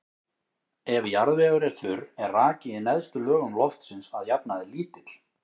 Ef jarðvegur er þurr er raki í neðstu lögum loftsins að jafnaði lítill.